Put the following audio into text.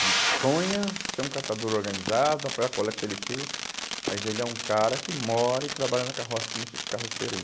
Ele sonha ser um catador organizado, apoiar a coleta seletiva, mas ele é um cara que mora e trabalha na carroça, como esses carroceiro aí.